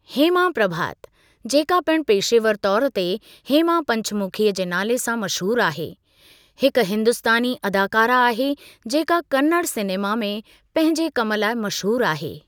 हेमा प्रभात जेका पिणु पेशेवर तौर ते हेमा पंचमुखी जे नाले सां मशहूरु आहे हिकु हिंदुस्तानी अदाकारा आहे जेका कन्नड़ सिनेमा में पंहिंजे कमु लाइ मशहूरु आहे।